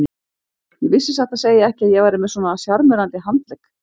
Ég vissi satt að segja ekki að ég væri með svona sjarmerandi handlegg.